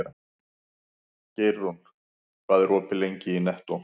Geirrún, hvað er opið lengi í Nettó?